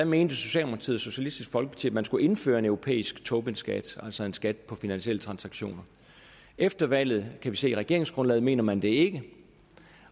mente socialdemokratiet og socialistisk folkeparti at man skulle indføre en europæisk tobinskat altså en skat på finansielle transaktioner efter valget kan vi se i regeringsgrundlaget mener man det ikke